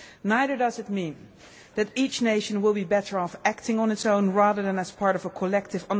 Neither does it mean that each nation will be better off acting on its own, rather than as part of a collective.